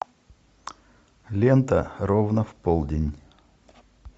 лента ровно в полдень